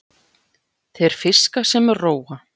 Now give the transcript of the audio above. Þeir fiska sem róa.